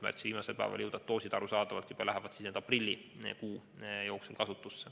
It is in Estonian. Märtsi viimasel päeval saabuvad doosid lähevad arusaadavatel põhjustel kasutusse aprillikuu jooksul.